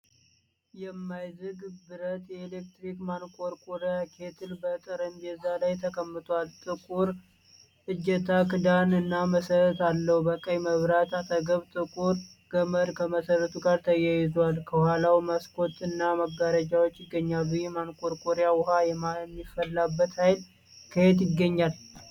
የማይዝግ ብረትየኤሌክትሪክ ማንቆርቆሪያ (ኬትል) በጠረጴዛ ላይ ተቀምጧል። ጥቁር እጀታ፣ ክዳን እና መሰረት አለው። በቀይ መብራት አጠገብ ጥቁር ገመድ ከመሰረቱ ጋር ተያይዟል። ከኋላው መስኮት እና መጋረጃዎች ይገኛሉ። ይህ ማንቆርቆሪያ ውኃ የሚፈላበትን ኃይል ከየት ያገኛል?